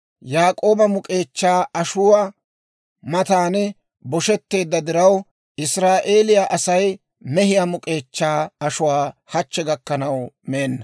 Yaak'ooba muk'k'eechchaa ashuwaa matan bosheteedda diraw, Israa'eeliyaa Asay mehiyaa muk'k'eechchaa ashuwaa hachche gakkanaw meenna.